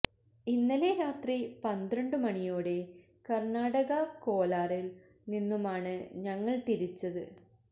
ഇന്നലെ രാത്രി പന്ത്രണ്ടു മണിയോടെ കർണാടക കോലാറിൽ നിന്നുമാണ് ഞങ്ങൾ തിരിച്ചത്